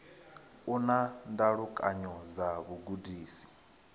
u na ndalukanyo dza vhugudisi